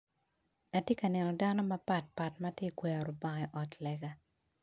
Atye ka neno dano mapatpat matye ka kwero lubanga i ot lega.